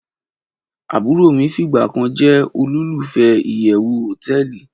Aburo mi figba kan je olulufe iyewu hoteeli